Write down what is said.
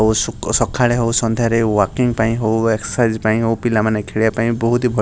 ଓ ସୁକ୍ ସଖାଳେ ହଉ ସନ୍ଧ୍ୟାରେ ହଉ ୱାକିଂ ପାଇଁ ହଉ ଏକ୍ସସାଇଜ ପାଇଁ ହଉ ପିଲାମାନେ ଖେଳିବା ପାଇଁ ବହୁତି ଭଲ --